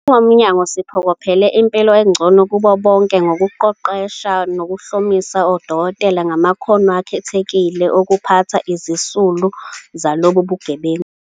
"Njengomnyango, siphokophelele impilo engcono kubo bonke ngokuqeqesha nokuhlomisa odokotela ngamakhono akhethekile okuphatha izisulu zalobu bugebengu."